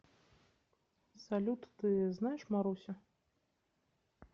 салют ты знаешь марусю